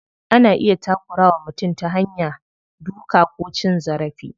Ana iya takura wa mutum ta hanya duka ko cin zarafi.